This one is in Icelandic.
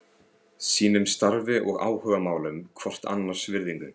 Sýnum starfi og áhugamálum hvort annars virðingu.